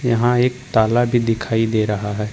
यहां एक ताला भी दिखाई दे रहा है।